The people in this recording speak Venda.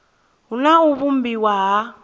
hu na u vhumbiwa ha